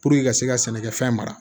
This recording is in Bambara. ka se ka sɛnɛkɛfɛn mara